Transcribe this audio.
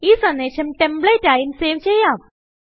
ഈ സന്ദേശം ടെമ്പ്ലേറ്റ് ആയും സേവ് ചെയ്യാം